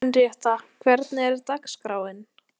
Henrietta, hvernig er dagskráin?